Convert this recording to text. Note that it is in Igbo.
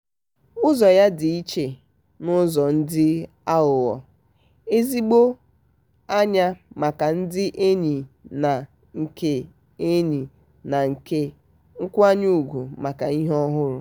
ụzọ ya dị iche n'ụzọ dị aghụghọ - ezigbo anya maka ndị enyi na nke enyi na nke nkwanye ugwu maka ihu ọhụrụ.